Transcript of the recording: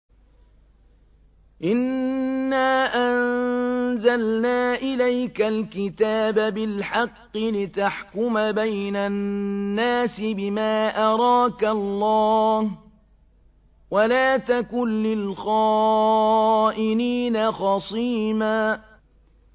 إِنَّا أَنزَلْنَا إِلَيْكَ الْكِتَابَ بِالْحَقِّ لِتَحْكُمَ بَيْنَ النَّاسِ بِمَا أَرَاكَ اللَّهُ ۚ وَلَا تَكُن لِّلْخَائِنِينَ خَصِيمًا